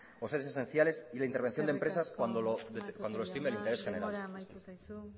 o servicios esenciales y la intervención de empresas cuando lo estime el interés general matute jauna denbora amaitu zaizu